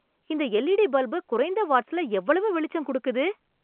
இந்த LED bulb குறைந்த watts ல எவ்வளவு வெளிச்சம் கொடுக்குது